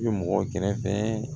I bɛ mɔgɔ kɛrɛfɛ